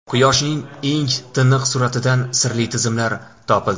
Quyoshning eng tiniq suratidan sirli tizmalar topildi.